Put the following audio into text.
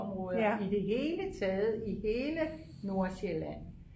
områder i det hele taget i hele Nordsjælland